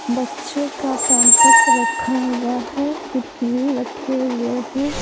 बच्चों का पैंपस रखा हुआ है किरकिरी रखे हुए हैं।